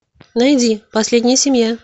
найди последняя семья